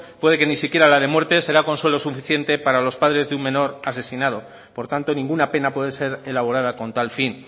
puede que ni siquiera la de muerte será consuelo suficiente para los padres de un menor asesinado por tanto ninguna pena puede ser elaborada con tal fin